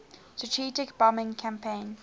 strategic bombing campaign